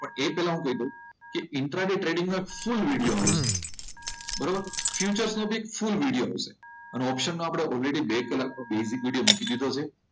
પણ એ પહેલા હું કહી દઉં ઇન્ટ્રા ડે ટ્રેડિંગ માં શું બરોબર ફ્યુચર્સ નો બી ફુલ વીડીયો હશે અને ઓપ્શન માં આપણે ઓલરેડી બે કલાકનો બેઝિક વિડીયો મૂકી દીધો છે.